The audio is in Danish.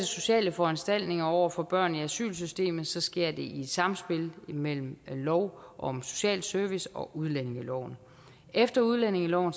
sociale foranstaltninger over for børn i asylsystemet sker det i et samspil mellem lov om social service og udlændingeloven efter udlændingeloven